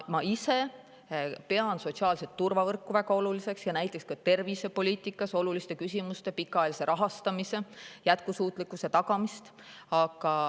Ma ise pean sotsiaalset turvavõrku väga oluliseks ja näiteks ka tervisepoliitikas olulise küsimusena pikaajalise rahastamise jätkusuutlikkuse tagamist.